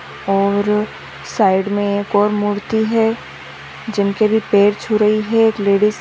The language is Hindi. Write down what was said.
और साइड में एक और मूर्ति है जिनके भी पैर छू रही है एक लेडीज़ --